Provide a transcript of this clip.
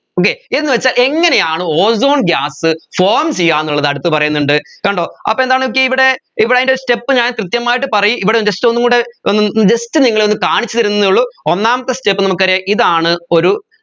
okay എന്ന് വെച്ചാൽ എങ്ങനെയാണ് ozone gasform ചെയ്യാന്നുള്ളത് അടുത്ത് പറയുന്നുണ്ട് കണ്ടോ അപ്പോ എന്താന്ന് നോക്കിയേ ഇവിടെ ഇവിടെ അതിൻെറ step ഞാൻ കൃത്യമായി പറയ് ഇവിടെ just ഒന്നും കൂടെ ഒന്ന് just നിങ്ങളെ ഒന്ന് കാണിച്ച് തരുന്നേ ഉള്ളു ഒന്നാമത്തെ step നമ്മക്കറിയാം ഇതാണ് ഒരു